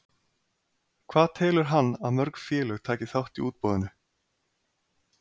Hvað telur hann að mörg félög taki þátt í útboðinu?